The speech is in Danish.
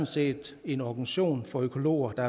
set en organisation for økologer der